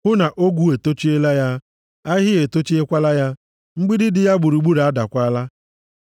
hụ na ogwu etochiela ya, ahịhịa etochiekwala ya; mgbidi dị ya gburugburu adaakwala.